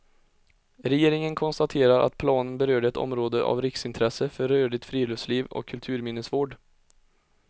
Regeringen konstaterar att planen berörde ett område av riksintresse för rörligt friluftsliv och kulturminnesvård.